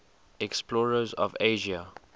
explorers of asia